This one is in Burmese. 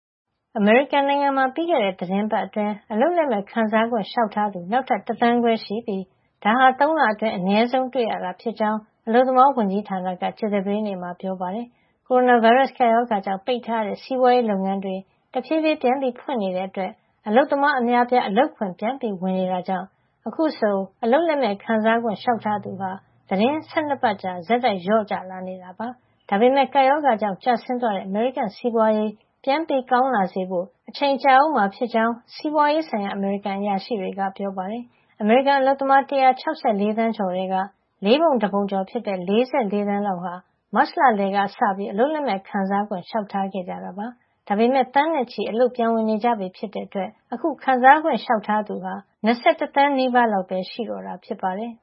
အမေရိကန်နိုင်ငံမှာ ပြီးခဲ့တဲ့ သီတင်းပတ်အတွင်း အလုပ်လက်မဲ့ ခံစားခွင့် လျှောက်ထားသူ နောက်ထပ် ၁ သန်းခွဲရှိပြီး ဒါဟာ ၃ လအတွင်း အနည်းဆုံး တွေ့ရတာ ဖြစ်ကြောင်း အလုပ်သမားဝန်ကြီးဌာနက ကြာသပတေးနေ့မှာ ပြောပါတယ်။ ကိုရိုနာဗိုင်းရပ်စ် ကပ်ရောဂါကြောင့် ပိတ်ထားရတဲ့ စီးပွါးရေး လုပ်ငန်းတွေ တဖြေးဖြေး ပြန်ဖွင့်နေတဲ့ အတွက် အလုပ်သမားအများအပြား အလုပ်ခွင် ပြန်ဝင် နေကြတာကြောင့် အခုဆို အလုပ်လက်မဲ့ ခံစားခွင့် လေ ျှာက်ထားသူဟာ သီတင်းပတ် ၁၂ ပတ်ကြာ ဆက်တိုက် လျော့ကျလာတာ ဖြစ်ပါတယ်။ ဒါမပမယ့် ကပ်ရောဂါကြောင့် ကျဆင်းသွားတဲ့ အမေရိကန် စီးပွါးရေး ပြန်ကောင်းလာစေဖို့ အချိန်ကြာအုံးမှာ ဖြစ်ကြောင်း စီးပွါးရေးဆိုင်ရာ အမေရိကန်အရာရှိတွေက ပြောပါတယ်။ အမေရိကန်အလုပ်သမား ၁၆၄ သန်းကျော် ထဲက လေးပုံတပုံကျော် ဖြစ်တဲ့ ၄၄ သန်းလောက် ဟာ မတ်လ လယ်ကစပြီး အလုပ်လက်မဲ့ ခံစားခွင့် လေ ျှာက်ထားခဲ့တကြတာ ဖြစ်ပါတယ်။ ဒါပေမယ့် သန်းနဲ့ချီပြီး အလုပ်ပြန်ဝင် နေကြပြီ ဖြစ်တဲ့ အတွက် ခံစားခွင့် လျှောက်ထားသူဟာ ၂၁ သန်းနီးပါးလောက်ပဲ ရှိတော့တာ ဖြစ်ပါတယ်